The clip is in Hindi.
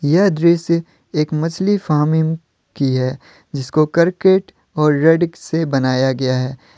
यह दृश्य एक मछली फार्मिम की है जिसको करकेट और रेडिक्स से बनाया गया है।